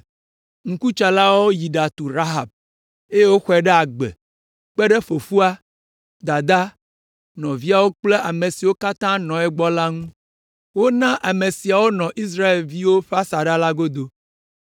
Ŋkutsalawo yi ɖatu Rahab, eye woxɔe ɖe agbe kpe ɖe fofoa, dadaa, nɔviawo kple ame siwo katã nɔ egbɔ la ŋu. Wona ame siawo nɔ Israelviwo ƒe asaɖa la godo.